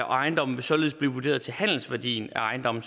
ejendommen vil således blive vurderet til handelsværdien af ejendommen